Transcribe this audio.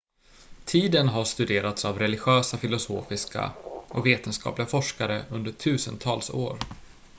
tiden has studerats av religiösa filosofiska och vetenskapliga forskare under tusentals år